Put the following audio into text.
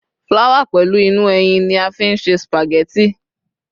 flower pẹlu inú ẹyìn ni a fi n ṣe spaghetti